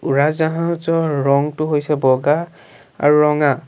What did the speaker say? উৰাজাহাজৰ ৰঙটো হৈছে বগা আৰু ৰঙা।